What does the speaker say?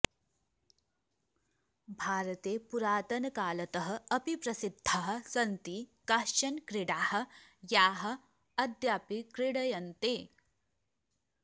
भारते पुरातनकालतः अपि प्रसिद्धाः सन्ति काश्चन क्रीडाः याः अद्यापि क्रीड्यन्ते